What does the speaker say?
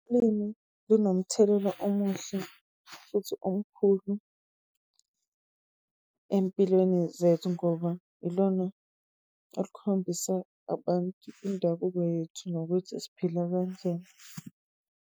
Ulimi linomthelela omuhle futhi omkhulu empilweni zethu ngoba ilona elikhombisa abantu indabuko yethu nokuthi siphila kanjani.